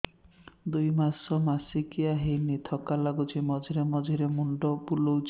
ଦୁଇ ମାସ ମାସିକିଆ ହେଇନି ଥକା ଲାଗୁଚି ମଝିରେ ମଝିରେ ମୁଣ୍ଡ ବୁଲୁଛି